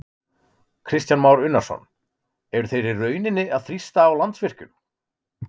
Kristján Már Unnarsson: Eru þeir í rauninni að þrýsta á Landsvirkjun?